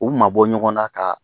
U mabɔ ɲɔgɔn na ka